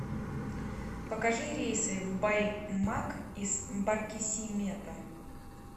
покажи рейсы в баймак из баркисимето